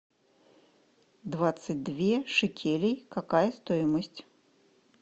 двадцать две шекелей какая стоимость